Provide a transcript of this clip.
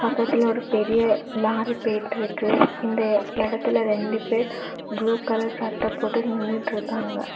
பக்கத்துல ஒரு பெரிய லாரி பேயிட்டுருக்கு இந்த இடத்துல ரெண்டு பேர் ப்ளூ கலர் சட்ட போட்டு நின்னுட்ருக்காங்க.